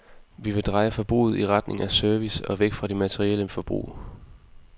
Vi vil dreje forbruget i retning af service og væk fra det materielle forbrug.